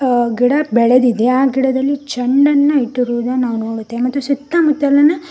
ಆ ಗಿಡ ಬೆಳೆದಿದೆ ಆಗಿಡದಲ್ಲಿ ಚಂಡನ್ನ ನೋಡುತ್ತೇವೆ ಮತ್ತು ಸುತ್ತಮುತ್ತಲಿನ.